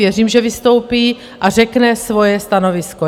Věřím, že vystoupí a řekne svoje stanovisko.